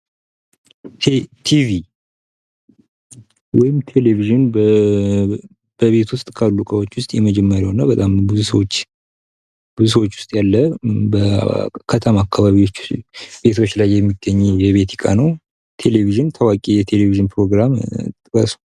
ቲቪ ወይም ቴሌቪዥን በቤት ውስጥ ካሉ እቃዎች ውስጥ የመጀመሪያው እና በጣም ብዙ ሰዎች ውስጥ ያለ በከተማ አካባቢዎች ቤቶች ላይ የሚገኝ የቤት እቃ ነው። ቴሌቪዝን፤ ታዋቂ የቴሌቪዥን ፕሮግራም ጥቀሱ።